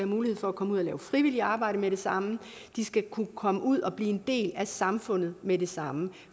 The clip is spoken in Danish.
mulighed for at komme ud at lave frivilligt arbejde med det samme de skal kunne komme ud at blive en del af samfundet med det samme